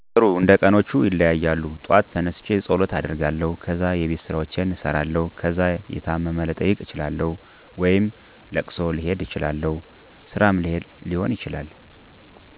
ጥሩ እንደቀኖቹ ይለያያሉ ጧት ተነስቸ ፀሎት አደርጋለሁ ከዛ የቤትስራዎችን እሰራለሁ ከዛ የታመም ልጠይቅ እችላለሁ ወይም እለቅሶም ልሄድ እችላለሁ ስራም ሊሆን ይችላል